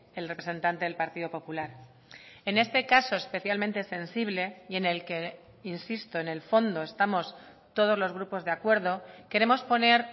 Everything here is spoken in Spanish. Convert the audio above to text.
el representante del partido popular en este caso especialmente sensible y en el que insisto en el fondo estamos todos los grupos de acuerdo queremos poner